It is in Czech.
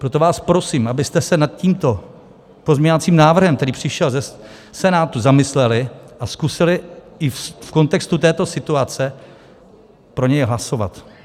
Proto vás prosím, abyste se nad tímto pozměňovacím návrhem, který přišel ze Senátu, zamysleli a zkusili i v kontextu této situace pro něj hlasovat.